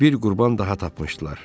Bir qurban daha tapmışdılar.